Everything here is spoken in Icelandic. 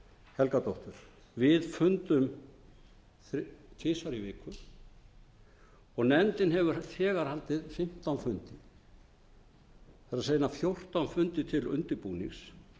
helgadóttur við fundum tvisvar í viku og nefndin hefur þegar haldið fimmtán fundi það er eina fjórtán fundi til undirbúnings